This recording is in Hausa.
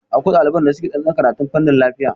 Akwai ɗaliban da suke tsantsan karatun fanin lafiya